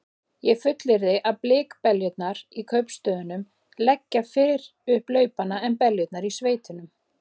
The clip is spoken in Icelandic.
Ég fullyrði að blikkbeljurnar í kaupstöðunum leggja fyrr upp laupana en beljurnar í sveitunum.